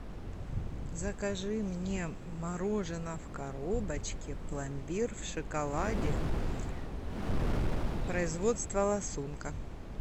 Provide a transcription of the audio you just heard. закажи мне мороженое в коробочке пломбир в шоколаде производство ласунка